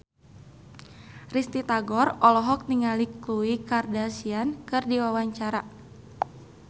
Risty Tagor olohok ningali Khloe Kardashian keur diwawancara